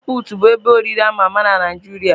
Mama pụtụ bụ ebe oriri ama ama na Naijiria.